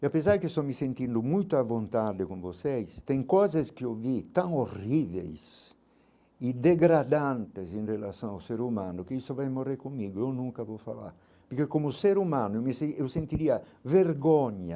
E apesar de que estou me sentindo muito à vontade com vocês, tem coisas que eu vi tão horríveis e degradantes em relação ao ser humano, que isso vai morrer comigo, eu nunca vou falar, porque como ser humano eu me sen eu sentiria vergonha,